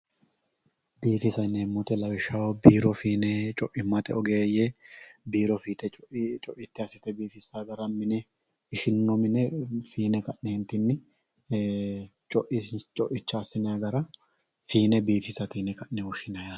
Bifissa yinnemo woyitte lawishshaho birro finne coimatte oggeyye birro fitte coitte asitte bifisa gaara minne ishininno minne finne kaanenitinni ee coichcha asinayyi gaara finne bifisatte yinne woshinayyi yatte